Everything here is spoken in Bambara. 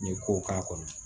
N ye ko k'a kɔnɔ